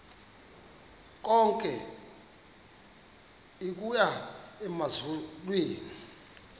lonke igunya emazulwini